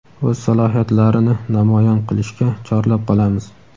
o‘z salohiyatlarini namoyon qilishga chorlab qolamiz!.